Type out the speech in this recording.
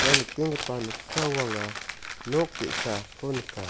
ia nikenggipa noksao anga nok ge·sako nika.